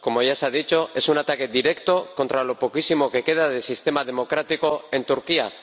Como ya se ha dicho, es un ataque directo contra lo poquísimo que queda de sistema democrático en Turquía.